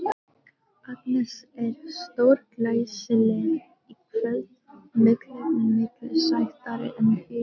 Agnes er stórglæsileg í kvöld, miklu, miklu sætari en fyrr.